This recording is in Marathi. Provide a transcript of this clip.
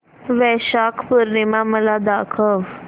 वैशाख पूर्णिमा मला दाखव